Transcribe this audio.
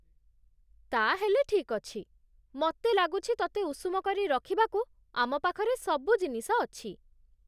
ତା'ହେଲେ ଠିକ୍ ଅଛି। ମତେ ଲାଗୁଛି ତତେ ଉଷୁମ କରି ରଖିବାକୁ ଆମ ପାଖରେ ସବୁ ଜିନିଷ ଅଛି ।